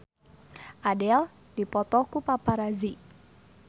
Adele dipoto ku paparazi